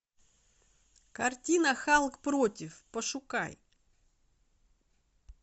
картина халк против пошукай